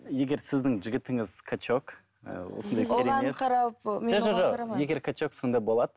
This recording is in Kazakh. егер сіздің жігітіңіз качок ыыы егер качок сондай болады